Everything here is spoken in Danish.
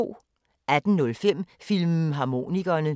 18:05: Filmharmonikerne